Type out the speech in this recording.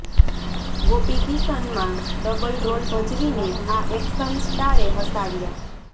ગોપી કિશન માં double role ભજવીને આ એક્શન સ્ટારે હસાવ્યા